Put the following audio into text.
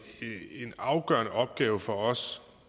afgørende opgave for os